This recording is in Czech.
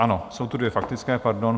Ano, jsou tu dvě faktické, pardon.